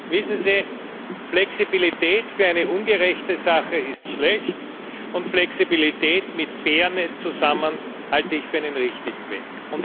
Wissen Sie, Flexibilität für eine ungerechte Sache ist schlecht, und Flexibilität mit Fairness zusammen halte ich für einen richtigen Weg.